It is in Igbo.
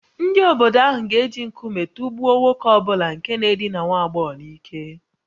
Ndị obodo ahụ ga-eji nkume tụgbuo nwoke ọ bụla nke na-edina nwa agbọghọ n’ike